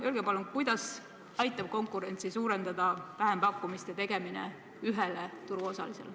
Öelge palun, kuidas aitab konkurentsi suurendada vähempakkumiste tegemine ühele turuosalisele.